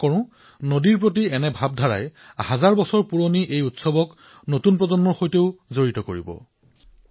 মই আশা প্ৰকাশ কৰিছো যে নদীসমূহৰ প্ৰতি এইদৰে সজাগতা বৃদ্ধিৰ এই সহস্ৰ বৰ্ষ পুৰণি আমাৰ উৎসৱে ভৱিষ্যতৰ প্ৰজন্মকো জড়িত কৰক